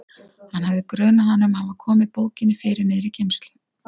Hann hafði grunað hana um að hafa komið bókinni fyrir niðri í geymslu.